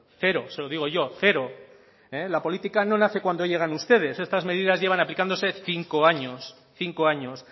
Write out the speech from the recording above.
cero se lo digo yo cero la política no nace cuando llegan ustedes estas medidas llevan aplicándose cinco años cinco años